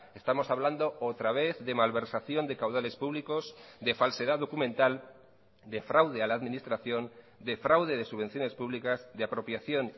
estamos hablando otra vez de malversación de caudales públicos de falsedad documental de fraude a la administración de fraude de subvenciones públicas de apropiación